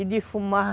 E de fumar.